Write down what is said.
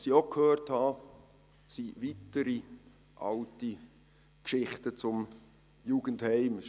Was ich auch gehört habe, sind weitere alte Geschichten zum Jugendheim.